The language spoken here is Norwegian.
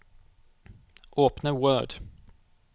Åpne Word